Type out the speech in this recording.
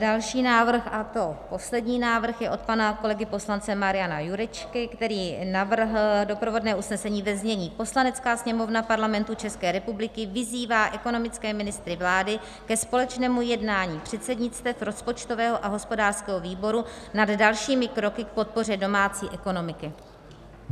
Další návrh, a to poslední návrh, je od pana kolegy poslance Mariana Jurečky, který navrhl doprovodné usnesení ve znění: Poslanecká sněmovna Parlamentu České republiky vyzývá ekonomické ministry vlády ke společnému jednání předsednictev, rozpočtového a hospodářského výboru nad dalšími kroky k podpoře domácí ekonomiky.